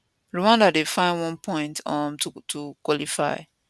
rwanda dey find one point um to to qualify